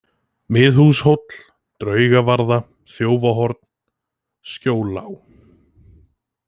Miðhúshóll, Draugavarða, Þjófahorn, Skjóllág